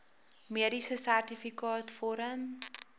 mediese sertifikaat vorm